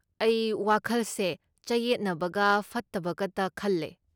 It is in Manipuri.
ꯑꯩ ꯋꯥꯈꯜꯁꯦ ꯆꯌꯦꯠꯅꯕꯒ ꯐꯠꯇꯕꯒꯇ ꯈꯜꯂꯦ꯫